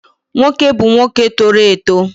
Nwoke bu nwoke toro eto